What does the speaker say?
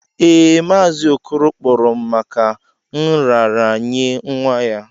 Ee, Mazi okoro kporo m maka nraranye nwa ya.